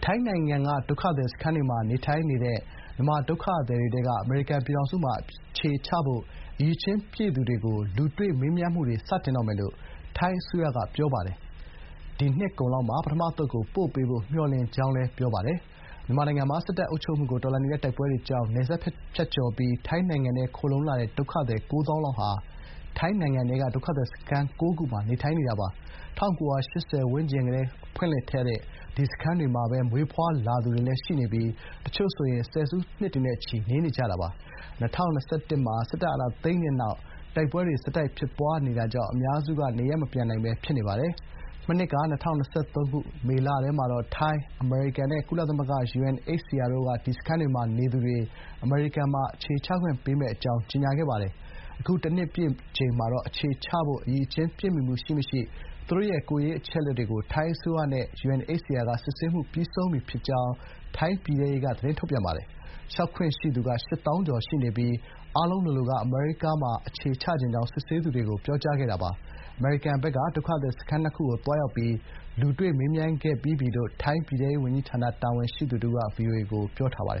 ိုင်းနိုင်ငံကဒုက္ခသည် စခန်းတွေမှာ နေထိုင်တဲ့ မြန်မာဒုက္ခသည်တွေ ထဲက အမေရိကန်ပြည်ထောင်စုမှာ အခြေချဖို့ အရည်ချင်းပြည့်သူတွေကို လူတွေ့မေးမြန်းမှုတွေ စတင်တော့မယ်လို့ ထိုင်းအစိုးရက ပြောပါတယ် ဒီနှစ်ကုန်လောက်မှာ ပထမအသုတ်ကို ပို့ပေးဖို့ မျှော်လင့်ကြောင်းလည်း ပြောပါတယ်။ မြန်မာနိုင်ငံမှာ စစ်တပ်နဲ့ စစ်တပ်အုပ်ချုပ်မှုကို တော်လှန်နေတဲ့ တိုင်းရင်းသား လက်နက်ကိုင်တွေကြား တိုက်ပွဲတွေကြောင့် နယ်စပ်ကျော်ဖြတ်ပြီး ထိုင်းနိုင်ငံထဲခိုလှုံလာတဲ့ ဒုက္ခသည် ၉ သောင်းလောက်ဟာ ထိုင်းနိုင်ငံထဲက ဒုက္ခသည်စခန်း ၉ ခုမှာ နေထိုင်နေတာပါ။ ၁၉၈၀ ဝန်းကျင်ကစတင် ဖွင့်လှစ်တဲ့ ဒီစခန်းတွေမှာပဲ မွေးဖွားလာသူတွေ ရှိနေပြီး တချို့ဆို ဆယ်စုနှစ်နဲ့ချီ နေနေကြတာဖြစ်ပါတယ်။ ၂၀၂၁ မှာ စစ်တပ်အာဏာသိမ်းတဲ့နောက် တိုက်ပွဲတွေဆက်တိုက်ဖြစ်ပွားနေတာတဲ့အတွက် အများစုက နေရပ်မပြန်နိုင်ပဲ ဖြစ်နေပါတယ်။ မနှစ်က ၂၀၂၃ မေလထဲမှာတော့ ထိုင်း- အမေရိကန်နဲ့ ကုလသမဂ္ဂ UNHCR တို့က ဒီစခန်းတွေမှာ နေသူတွေ အမေရိကန်မှာ အခြေချခွင့်ပေးမယ့်အကြောင်း ကြေညာခဲ့ပါတယ်။ အခုတနှစ်ပြည့်မှာတော့ အခြေချဖို့ အရည်အချင်း ပြည့်မှီမှု ရှိမရှိ သူတို့ရဲ့ ကိုယ်ရေးအချက်လက်တွေကို ထိုင်းအစိုးရနဲ့ UNHCR က စစ်ဆေးမှု ပြီးဆုံးပြီဖြစ်ကြောင်း ထိုင်း ပြည်ထဲရေး ဝန်ကြီးဌာနက ပြောပါတယ်။ လျှောက်ခွင့်ရှိသူက ၈ သောင်းကျော်ရှိနေပြီး အားလုံးလိုလိုက အမေရိကန်မှာ အခြေချချင်ကြောင်း စစ်ဆေးသူတွေကို ပြောကြားခဲ့တာပါ။ အမေရိကန်ဖက်က ဒုက္ခသည် စခန်းနှစ်ခု ကိုသွားရောက်ပြီး လူတွေ့မေးမြန်းခဲ့ပြီးပြီလို့ ထိုင်းပြည်ထဲရေးဝန်ကြီးဌာန တာဝန်ရှိသူတဦးဖြစ်တဲ့ Zcongklod Khawjang က VOA ကို ပြောပါတ